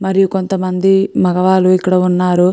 మరియు కొంతమంది మగవాలు ఇక్కడ ఉన్నారు.